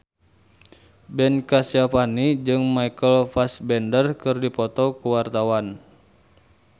Ben Kasyafani jeung Michael Fassbender keur dipoto ku wartawan